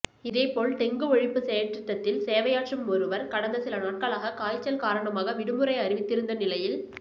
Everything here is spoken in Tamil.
இதேபோல் டெங்கு ஒழிப்பு செயற்றிட்டத்தில் சேவையாற்றும் ஒருவர் கடந்த சில நாட்களாக காய்ச்சல் காரணமாக விடுமுறை அறிவித்திருந்த நிலையில்